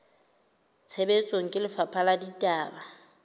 tshebetsong ke lefapha la ditaba